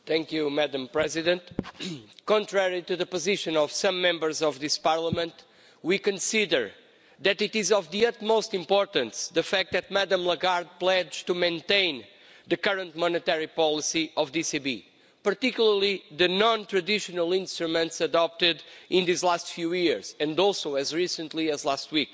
Madam President, contrary to the position of some Members of this Parliament, we consider that it is of the utmost importance the fact that Ms Lagarde pledged to maintain the current monetary policy of the ECB, particularly the non traditional instruments adopted in these last few years and also as recently as last week.